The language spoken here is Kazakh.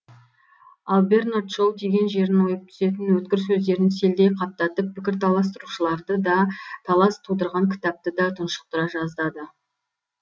ал бернард шоу тиген жерін ойып түсетін өткір сөздерін селдей қаптатып пікір таластырушыларды да талас тудырған кітапты да тұншықтыра жаздады